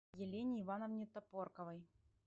елене ивановне топорковой